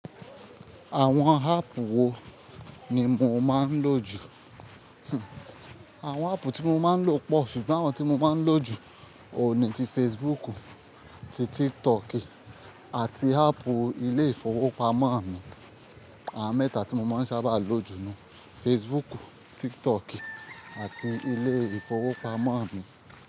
Àwọn áàpù wo ni mo máa ń lò jù? Àwọn áàpù tí mo máa ń lò pọ̀ ṣùgbọ́n àwọn tí mo máa ń lò jù òuní ni ti Facebook, ti TikToki àti áàpù ilé ìfowópamọ́ mi. Àwọn mẹ́ta tí mo ma n sábà lò jù nu Facebook, TikToki àti ilé ìfowópamọ́ mi.